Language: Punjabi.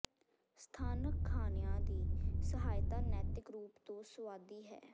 ਸਥਾਨਕ ਖਾਣਿਆਂ ਦੀ ਸਹਾਇਤਾ ਨੈਤਿਕ ਰੂਪ ਤੋਂ ਸੁਆਦੀ ਹੈ